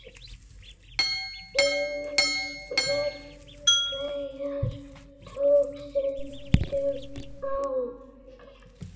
Hins vegar tók stundum á.